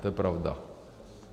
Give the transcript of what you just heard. To je pravda.